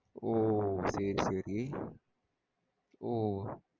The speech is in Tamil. ஓ சேரி சேரி ஓ.